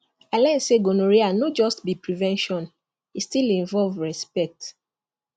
i learn say gonorrhea no just be prevention e still involve respect